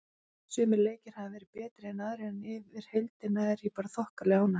Sumir leikir hafa verið betri en aðrir en yfir heildina er ég bara þokkalega ánægð.